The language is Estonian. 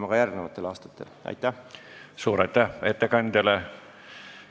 Suur aitäh ettekandjale!